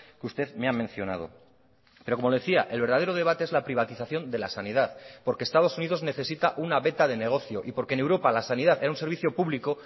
que usted me ha mencionado pero como le decía el verdadero debate es la privatización de la sanidad porque estados unidos necesita una veta de negocio y porque en europa la sanidad era un servicio público